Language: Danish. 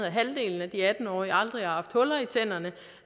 at halvdelen af de atten årige aldrig har haft huller i tænderne